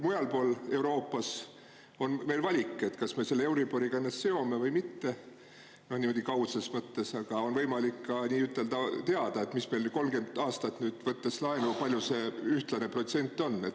Mujal Euroopas on meil valik, kas me seome ennast euriboriga või mitte, niimoodi kaudses mõttes, aga on võimalik ka nii-ütelda teada, võttes 30 aastaks laenu, kui suur see ühtlane protsent on.